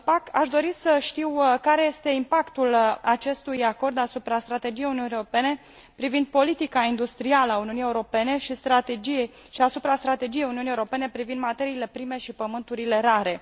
Aș dori să știu care este impactul acestui acord asupra strategiei Uniunii Europene privind politica industrială a Uniunii Europene și asupra strategiei Uniunii Europene privind materiile prime și pământurile rare.